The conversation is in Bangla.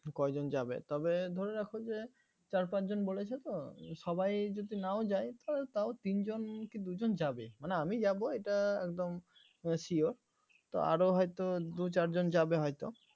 কজন যাবে তবে ধরে রাখো যে চার পাঁচজন বলেছে তো সবাই যদি নাও যায় তা~ তাও তিন জন কি দুজন যাবে মানে আমি যাব এটা একদম sure তো আরও হয়তো দুই চার জন যাবে হয়তো